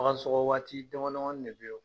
Bagan sɔkɔ waati dama damani ne be yen